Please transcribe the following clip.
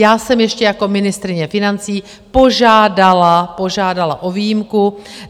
Já jsem ještě jako ministryně financí požádala o výjimku.